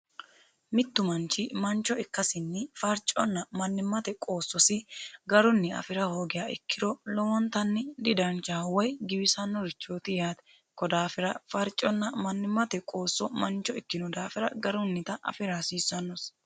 Mittu manchi mancho ikkasinni farcho afira hoogiro giwisannorichooti yaate ko daafira farchonna mannimate qoosso mancho ikkino daafira garunnita afira hasiissanosi.